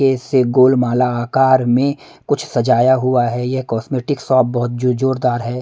ये से गोल माला आकार में कुछ सजाया हुआ है यह कॉस्मेटिक शॉप बहुत जोर जोरदार है।